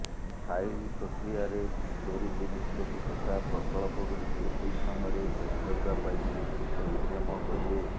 file ପ୍ରକି୍ରୟାରେ ତ୍ୱରିତ ନିଷ୍ପତ୍ତି ତଥା ପ୍ରକଳ୍ପଗୁଡ଼ିକୁ ଠିକ୍ ସମୟରେ ଶେଷ କରିବା ପାଇଁ ସେ ଉଦ୍ୟମ କରିବେ